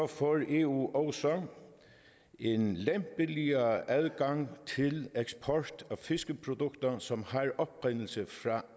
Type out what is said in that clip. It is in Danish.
får eu også en lempeligere adgang til eksport af fiskeprodukter som